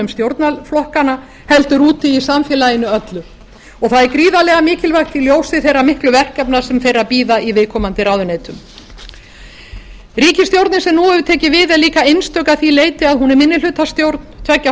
stjórnarflokkanna heldur úti í samfélaginu öllu það er gríðarlega mikilvægt í ljósi þeirra miklu verkefna sem þeirra bíða í viðkomandi ráðuneytum ríkisstjórnin sem nú hefur tekið við er líka einstök að því leyti að hún er minnihlutastjórn tveggja